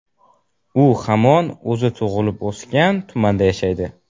U hamon o‘zi tug‘ilib-o‘sgan tumanda yashaydi.